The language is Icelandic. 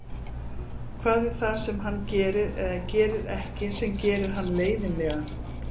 Hvað er það sem hann gerir eða gerir ekki sem gerir hann leiðinlegan?